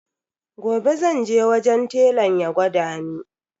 Gobe zan je wajen telan ya gwada ni.